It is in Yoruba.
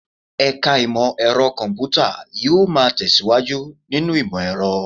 Ẹ̀ka Imọ-ẹrọ Kọmputa yóò máa tẹ̀síwájú nínú ìmọ̀-ẹ̀rọ̀